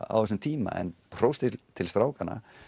á þessum tíma en hrós til strákanna